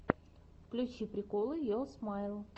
включи приколы йо смайл